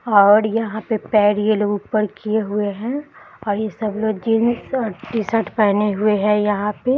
और यहाँ पे पैर ये लोग ऊपर किए हुए हैं और यह सब लोग जींस और टी-शर्ट पहने हुए हैं यहाँ पे।